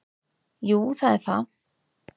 Jú það er það.